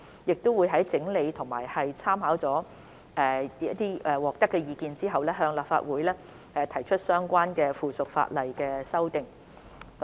我們會在整理及參考接獲的意見後，向立法會提出相關的附屬法例修訂。